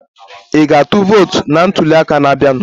Ị ga-atụ vootu na ntuli aka na-abịanụ?